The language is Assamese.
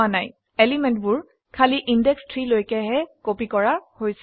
এলিমেন্টবোৰ খালী ইন্দেশ 3 লৈকেহে কপি কৰা হৈছে